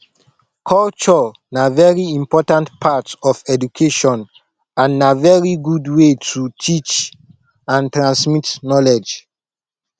culture na very important part of education and na very good way to teach and transmit knowledge